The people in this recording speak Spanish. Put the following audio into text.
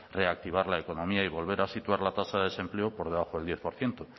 reactivar la economía y volver a situar la tasa de desempleo por debajo del diez por ciento